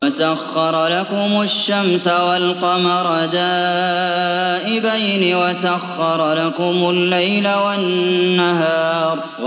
وَسَخَّرَ لَكُمُ الشَّمْسَ وَالْقَمَرَ دَائِبَيْنِ ۖ وَسَخَّرَ لَكُمُ اللَّيْلَ وَالنَّهَارَ